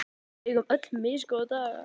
Við eigum öll misgóða daga.